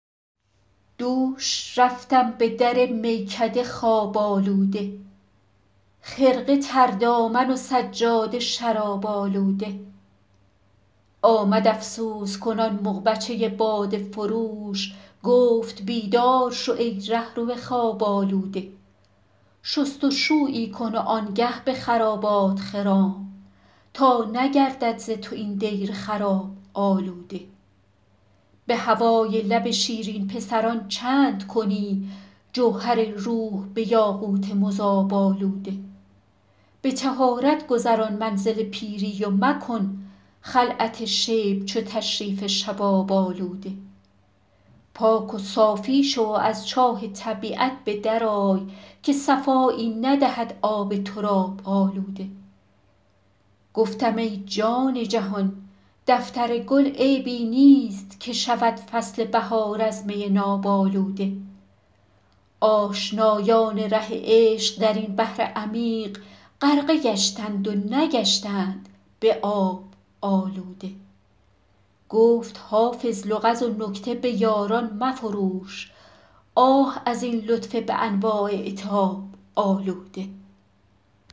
دوش رفتم به در میکده خواب آلوده خرقه تر دامن و سجاده شراب آلوده آمد افسوس کنان مغبچه باده فروش گفت بیدار شو ای رهرو خواب آلوده شست و شویی کن و آن گه به خرابات خرام تا نگردد ز تو این دیر خراب آلوده به هوای لب شیرین پسران چند کنی جوهر روح به یاقوت مذاب آلوده به طهارت گذران منزل پیری و مکن خلعت شیب چو تشریف شباب آلوده پاک و صافی شو و از چاه طبیعت به در آی که صفایی ندهد آب تراب آلوده گفتم ای جان جهان دفتر گل عیبی نیست که شود فصل بهار از می ناب آلوده آشنایان ره عشق در این بحر عمیق غرقه گشتند و نگشتند به آب آلوده گفت حافظ لغز و نکته به یاران مفروش آه از این لطف به انواع عتاب آلوده